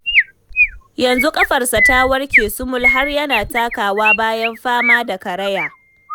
Yanzu ƙafarsa ta warke sumul har yana takawa bayan fama da karaya.